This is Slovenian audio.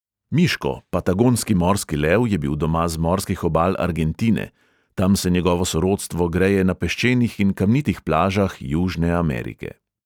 Miško, patagonski morski lev, je bil doma z morskih obal argentine, tam se njegovo sorodstvo greje na peščenih in kamnitih plažah južne amerike.